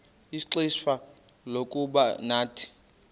ixfsha lokuba nathi